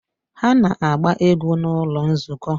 Ha na-agba egwu n'ụlọ nzukọ